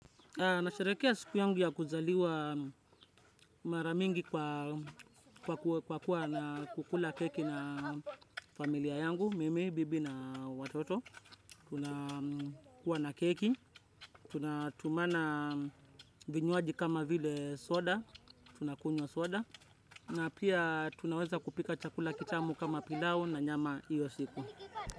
Nasherehekea siku yangu ya kuzaliwa mara mingi kwa kuwa na kukula keki na familia yangu, mimi, bibi na watoto. Tunakua na keki, tunatumana vinywaji kama vile soda, tunakunywa soda, na pia tunaweza kupika chakula kitamu kama pilau na nyama iyo siku.